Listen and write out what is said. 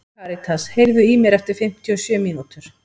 Karítas, heyrðu í mér eftir fimmtíu og sjö mínútur.